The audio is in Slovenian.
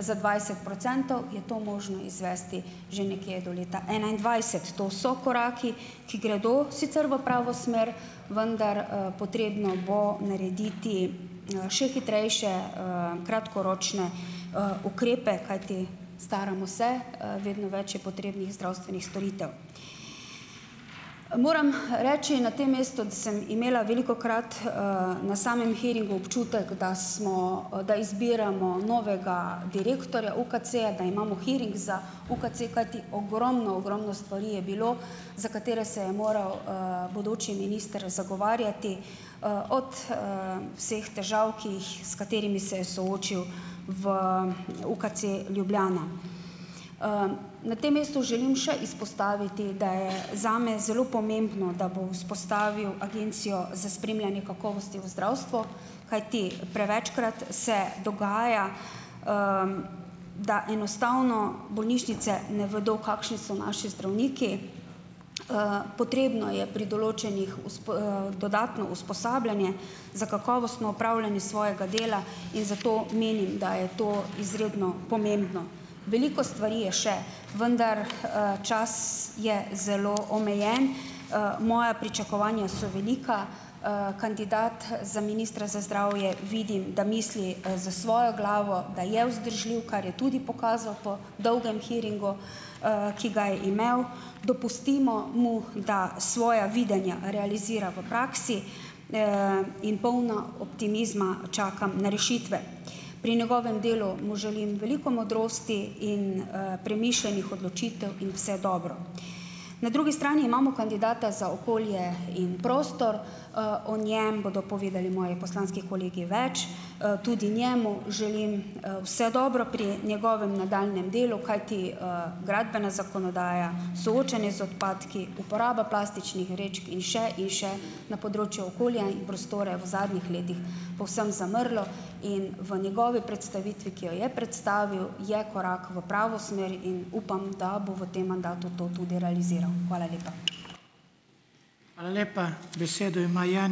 za dvajset procentov, je to možno izvesti že nekje do leta enaindvajset. To so koraki, ki gredo sicer v pravo smer, vendar, potrebno bo narediti, še hitrejše, kratkoročne, ukrepe, kajti staramo se, vedno več je potrebnih zdravstvenih storitev. Moram reči na tem mestu, da sem imela velikokrat na samem hearingu občutek, da smo, da izbiramo novega direktorja UKC, da imamo hearing za UKC, kajti ogromno, ogromno stvari je bilo, za katere se je moral, bodoči minister zagovarjati. Od, vseh težav, ki jih, s katerimi se je soočil v UKC Ljubljana. Na tem mestu želim še izpostaviti, da je zame zelo pomembno, da bo vzpostavil Agencijo za spremljanje kakovosti v zdravstvu, kajti prevečkrat se dogaja, da enostavno bolnišnice ne vedo, kakšni so naši zdravniki. Potrebno je pri določenih dodatno usposabljanje za kakovostno opravljanje svojega dela in zato menim, da je to izredno pomembno. Veliko stvari je še, vendar, čas je zelo omejen. Moja pričakovanja so velika, kandidat za ministra za zdravje, vidi, da misli, s svojo glavo, da je vzdržljiv, kar je tudi pokazal po dolgem hearingu, ki ga je imel, dopustimo mu, da svoja videnja realizira v praksi, in polna optimizma čakam na rešitve. Pri njegovem delu mu želim veliko modrosti in, premišljenih odločitev in vse dobro. Na drugi strani imamo kandidata za okolje in prostor. O njem bodo povedali moji poslanski kolegi več. Tudi njemu želim, vse dobro pri njegovem nadaljnjem delu, kajti, gradbena zakonodaja, soočenje z odpadki, uporaba plastičnih vrečk in še in še na področju okolja in prostora je v zadnjih letih povsem zamrlo in v njegovi predstavitvi, ki jo je predstavil, je korak v pravo smer in upam, da bo v tem mandatu to tudi realiziral. Hvala lepa.